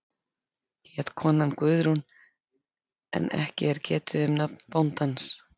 Hét konan Guðrún en ekki er getið um nafn bóndans.